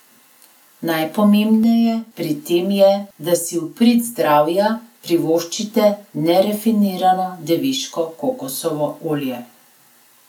Najpomembneje pri tem je, da si v prid zdravja privoščite nerafinirano deviško kokosovo olje.